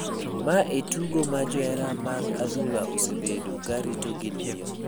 mae en tugo ma johera mag adhula osebeto ka rito gi liyo